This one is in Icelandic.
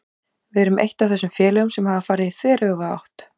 Við erum eitt af þessum félögum sem hafa farið í þveröfuga átt.